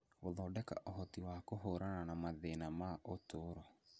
gũthondeka ũhoti wa kũhũrana na mathĩna ma ũtũũro.